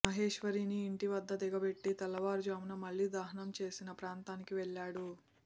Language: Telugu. మహేశ్వరిని ఇంటివద్ద దిగబెట్టి తెల్లవారుజామున మళ్లీ దహనం చేసిన ప్రాంతానికి వెళ్లాడు